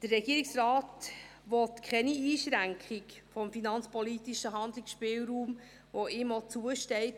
Der Regierungsrat will keine Einschränkung des finanzpolitischen Handlungsspielraums, der ihm zusteht.